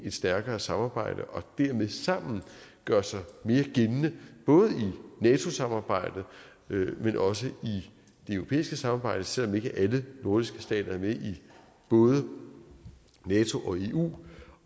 et stærkere samarbejde og dermed sammen gøre sig mere gældende både i nato samarbejdet men også i det europæiske samarbejde selv om ikke alle nordiske stater er med i både nato og eu